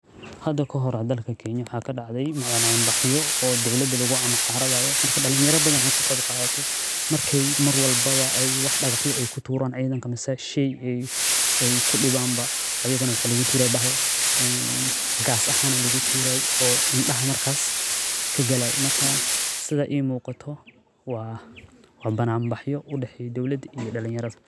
Hada kahore dalka kenya waxaa kadacde banan baxyo oo dowlada lagu amxaradhayo marka dalin yar badan ba ka qeb qadate mar walbawa ee digaxya ee kuturan cidhanka mase sheyga ee kudiwan ba ayagana maxaa lagu turaye bacda ee gas ahan aya lagu turaye oo indaha markas kagalaye sitha imiqato waa banan baxyo udexeyo dowlaada iyo dalin yaradha.